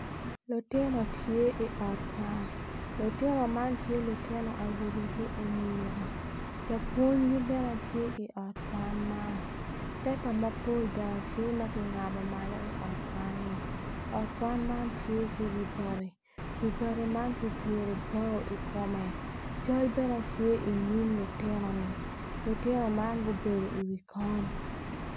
Lutino tye i ot kwan lutino man tye lutino awobe ki anyira lapwonygi bene tye i ot kwan man pepa mapol bene ty ma kingabo malo i ot kwan-ni ot kwan man tye ki wi bati wi bati man ki guru bao i kome cal bene tye inyim lutino-ni lutino man gubedo i wi kom